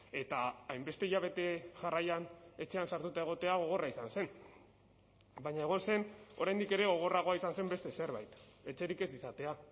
eta hainbeste hilabete jarraian etxean sartuta egotea gogorra izan zen baina egon zen oraindik ere gogorragoa izan zen beste zerbait etxerik ez izatea